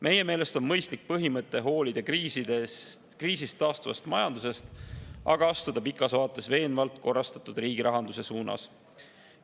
Meie meelest on mõistlik põhimõte hoolida kriisist taastuvast majandusest, aga pikas vaates astuda veenvalt korrastatud riigirahanduse suunas.